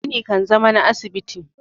gini kan zama na asibiti